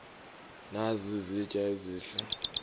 nazi izitya ezihle